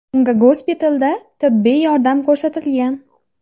Unga gospitalda tibbiy yordam ko‘rsatilgan.